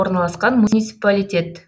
орналасқан муниципалитет